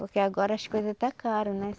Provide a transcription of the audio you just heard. Porque agora as coisas está cara, né?